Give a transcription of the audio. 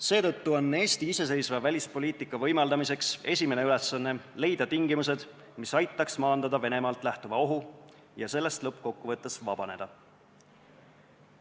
Seetõttu on Eesti iseseisva välispoliitika võimaldamiseks esimene ülesanne leida tingimused, mis aitaks maandada Venemaalt lähtuvat ohtu ja sellest lõpuks vabaneda.